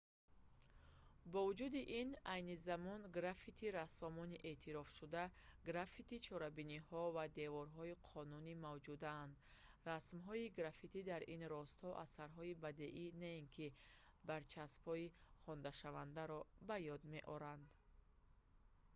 бо вуҷуди ин айни замон граффити-рассомони эътирофшуда граффити-чорабиниҳо ва деворҳои қонунӣ мавҷуданд расмҳои граффити дар ин росто асарҳои бадеӣ на ин ки барчаспҳои хонданашавандаро ба ёд меоранд